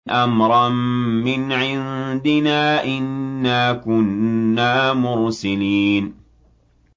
أَمْرًا مِّنْ عِندِنَا ۚ إِنَّا كُنَّا مُرْسِلِينَ